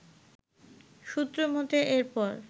সূত্র মতে এরপর